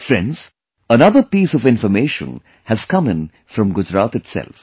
Friends, another piece of information has come in from Gujarat itself